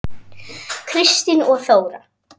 Kristín og Þóra.